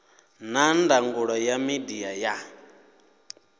na ndangulo ya midia ya